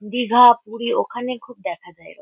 দীঘা পুরী ওখানে খুব দেখা যায় এরক--